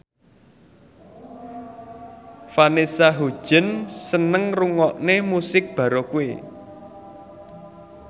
Vanessa Hudgens seneng ngrungokne musik baroque